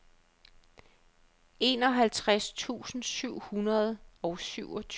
enoghalvtreds tusind syv hundrede og syvogtyve